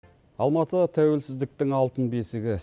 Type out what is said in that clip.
алматы тәуелсіздіктің алтын бесігі